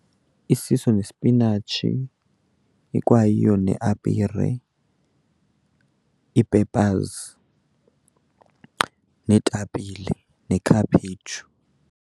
Isiso nesipinatshi ikwayiyo neapire, ii-peppers neetapile nekhaphetshu.